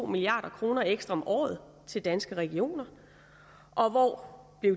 milliard kroner ekstra om året til danske regioner og hvor